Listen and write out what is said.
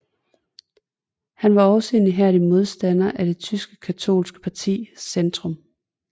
Han var også en ihærdig modstander af det tyske katolske parti Zentrum